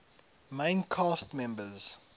main cast members